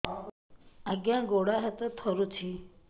ଆଜ୍ଞା ଗୋଡ଼ ହାତ ଥରୁଛି